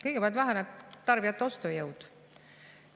Kõigepealt väheneb tarbijate ostujõud.